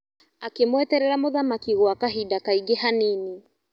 Akĩmweterera mũthamaki gwa kahinda kaingĩ hanini.